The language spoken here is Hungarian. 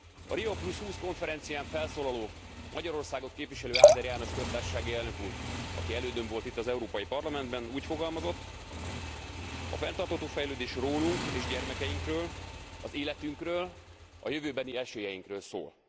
A Rió20 konferencián felszólaló, Magyarországot képviselő Áder János köztársasági elnök úr, aki elődöm volt itt az Európai Parlamentben, úgy fogalmazott a fenntartható fejlődés rólunk és gyermekeinkről, az életünkről, a jövőbeni esélyeinkről szól.